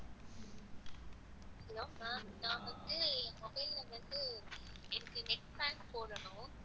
hello ma'am நான் வந்து mobile ல வந்து net netpack போடணும்.